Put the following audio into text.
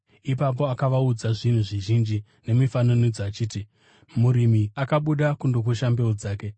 Ipapo akavaudza zvinhu zvizhinji nemifananidzo, achiti, “Murimi akabuda kundokusha mbeu dzake.